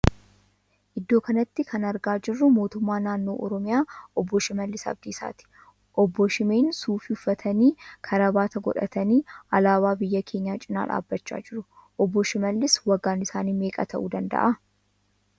Iddoo kanatti kan argaa jirru mootummaa naannoo Oromiyaa obbo Shiimallis Abdiisaati. Obbo Shiimeen suufii uffatanii karaabaatii godhatanii alaabaa biyya keenyaa cina dhaabbachaa jiru. Obbo Shiimallis waggaan isaanii meeqa ta'uu danda'aa?